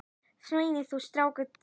Sveins verður sárt saknað.